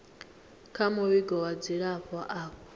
kha muvhigo wa dzilafho avho